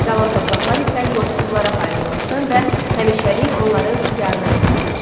Qalan torpaqlar isə yoxsullara paylanılsın və həmişəlik onların ixtiyarına verilsin.